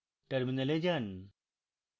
terminal যান